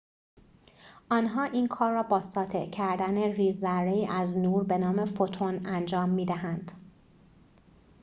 آنها این کار را با ساطع کردن ریزذره‌ای از نور به نام فوتون انجام می‌دهند